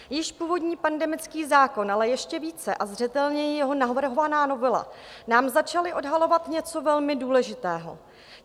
Již původní pandemický zákon, ale ještě více a zřetelněji jeho navrhovaná novela nám začaly odhalovat něco velmi důležitého.